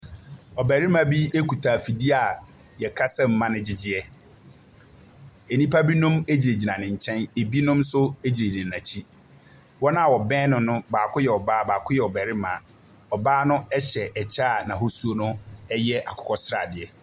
Ɔbarima bi kita afidie a wɔkasa mu ma no gyegyeɛ. Nnipa binom gyinagyina ne nkyɛn, binom nso gyinagyina n'akyi. Wɔn a wɔbɛn no no, bɔɔko yɛ ɔbea baako yɛ ɔbarima. Ɔbaa no hyɛ kyɛ n'ahosuo no yɛ akokɔ sradeɛ.